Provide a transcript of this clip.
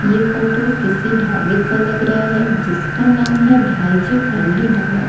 ये फोटो किसी ढाबे का लग रहा है जिसका नाम है भाई जी फैमिली ढाबा--